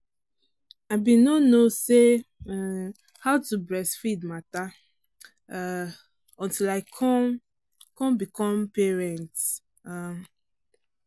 i been no no say um how to breastfeed matter um until i come come become parent. um